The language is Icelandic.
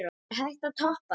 Er hægt að toppa það?